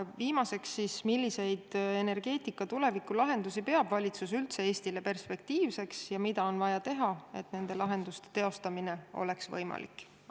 Ja viimaseks: milliseid energeetika tulevikulahendusi peab valitsus üldse Eestile perspektiivseks ja mida on vaja teha, et nende lahenduste teostamine oleks võimalik?